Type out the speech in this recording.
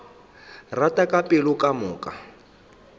rata ka pelo ka moka